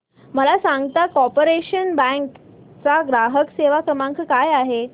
मला सांगता का कॉर्पोरेशन बँक चा ग्राहक सेवा क्रमांक काय आहे